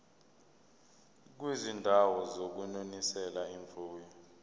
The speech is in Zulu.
kwizindawo zokunonisela imfuyo